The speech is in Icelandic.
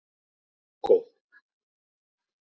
Hugo